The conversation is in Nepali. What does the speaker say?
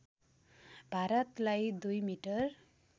भारलाई दुई मिटर